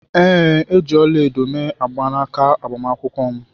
Ee. e ji ọla-edo mee mgbanaka agbamakwụkwọ m.